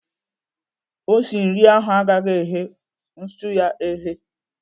Osi nri ahụ agaghị eghe stuu ya eghe.